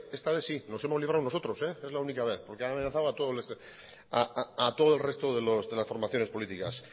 está vez sí nos hemos librado nosotros es la única vez porque han amenazado a todos los restos de las formaciones políticas